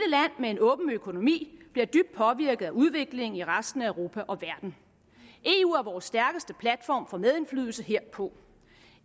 med en åben økonomi bliver dybt påvirket af udviklingen i resten af europa og verden eu er vores stærkeste platform for medindflydelse herpå